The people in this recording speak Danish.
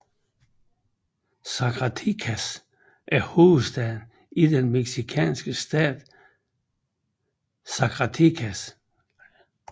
Zacatecas er hovedstaden i den mexicanske stat Zacatecas